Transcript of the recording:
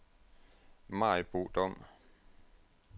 Maribo Dom